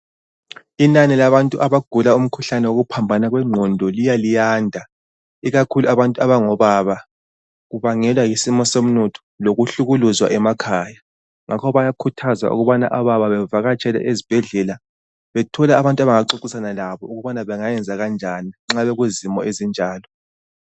Inani labantu abagula umkhuhlane wokuphambana kwengqondo liyaliyanda. Ikakhulu abantu abangobaba. Kubangelwa yisimo somnotho, lokuhlukuluzwa emakhaya. Ngakho bayakhuthaza ukubana obaba bavakatshele ezibhedlela, bethole abantu abangaxoxisana labo ukubana bengayenza kanjani nxa bekuzimo ezinjalo.